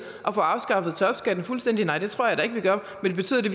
at få afskaffet topskatten fuldstændig nej det tror jeg da ikke vi gør men betyder det